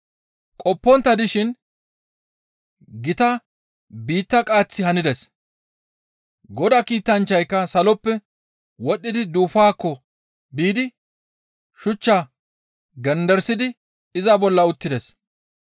Qoppontta dishin gita biitta qaaththi hanides; Godaa kiitanchchayka saloppe wodhdhi duufaakko biidi shuchchaa genderisidi iza bolla uttides.